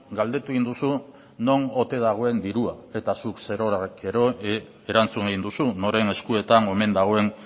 galdetu egin duzu non ote dagoen dirua eta zuk zerorrek gero erantzun egin duzu noren eskuetan omen dagoen